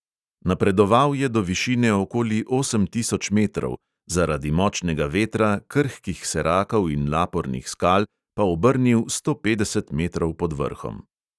Napredoval je do višine okoli osem tisoč metrov, zaradi močnega vetra, krhkih serakov in lapornih skal pa obrnil sto petdeset metrov pod vrhom.